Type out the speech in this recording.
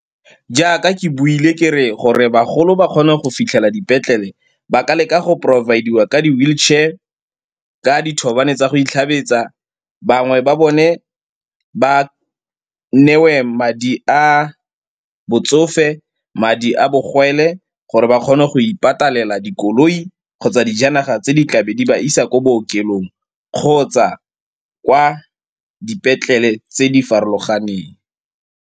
Jaaka ke buile kere gore bagolo ba kgone go fitlhela dipetlele ba ka leka go provide-iwa ka di-wheelchair, ka dithobane tsa go itlhabetsa. Bangwe ba bone ba neiwe madi a botsofe, madi a bogwele gore ba kgone go ipatalela dikoloi kgotsa dijanaga tse di tla be di ba isa kwa bookelong kgotsa kwa dipetlele tse di farologaneng.